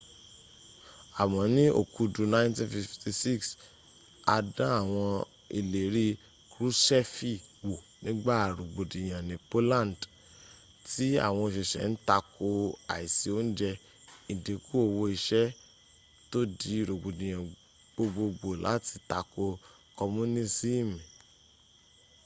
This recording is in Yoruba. àmọ́ ní okudu 1956 a dán àwọn ìlérí kruṣẹ́fì wò nígbà rogbodiyan ní polandi m tí àwọn oṣiṣẹ́ ń takò àìsí oúnjẹ́ ìdínkù owó iṣẹ́ tó dí rogbodiyan gbogbogbò láti takò komunisimi